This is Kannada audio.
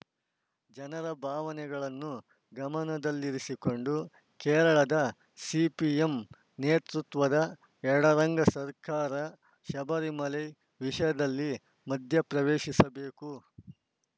ಜನರ ಭಾವನೆಗಳನ್ನು ಗಮನದಲ್ಲಿರಿಸಿಕೊಂಡು ಕೇರಳದ ಸಿಪಿಎಂ ನೇತೃತ್ವದ ಎಡರಂಗ ಸರ್ಕಾರ ಶಬರಿಮಲೆ ವಿಷಯದಲ್ಲಿ ಮಧ್ಯಪ್ರವೇಶಿಸಬೇಕು